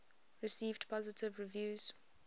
received positive reviews